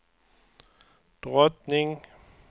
drottning